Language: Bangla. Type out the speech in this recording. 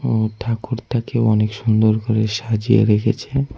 উম ঠাকুরটাকেও অনেক সুন্দর করে সাজিয়ে রেখেছে।